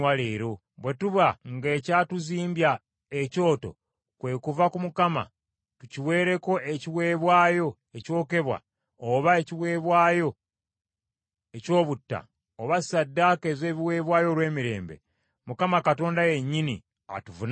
Bwe tuba nga ekyatuzimbya ekyoto kwe kuva ku Mukama , tukiweereko ekiweebwayo ekyokebwa oba ekiweebwayo ekyobutta oba ssaddaaka ez’ebiweebwayo olw’emirembe, Mukama Katonda yennyini atuvunaane.